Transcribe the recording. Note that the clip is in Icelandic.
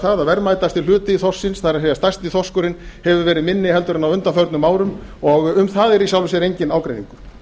það að verðmætasti hluti þorsksins það er stærsti þorskurinn hefur verið minni en á undanförnum árum og um það er í sjálfu sér enginn ágreiningur